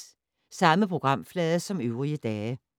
Samme programflade som øvrige dage